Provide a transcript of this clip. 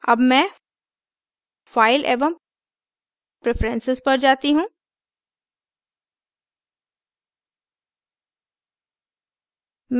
अब मैं file एवं preferences पर जाती हूँ